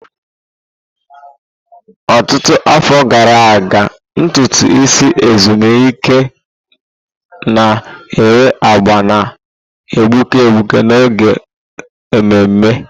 Ọtụtụ afọ gara aga, ntutu isi ezumike na enwe agba na-egbuke egbuke n'oge ememe.